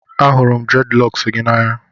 Ahụrụ m Dreadilocks gị n'anya